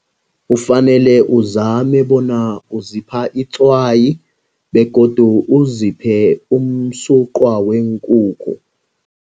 Ufanele uzame bona uzipha itswayi begodu uziphe umsuqwa weenkukhu.